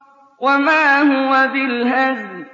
وَمَا هُوَ بِالْهَزْلِ